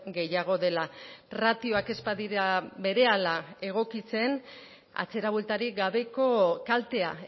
gehiago dela ratioak ez badira berehala egokitzen atzera bueltarik gabeko kaltea